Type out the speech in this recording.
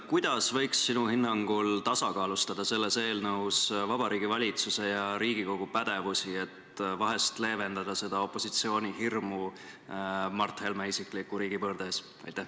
Kuidas võiks sinu hinnangul tasakaalustada selles eelnõus Vabariigi Valitsuse ja Riigikogu pädevusi, et vahest leevendada opositsiooni hirmu Mart Helme isikliku riigipöörde ees?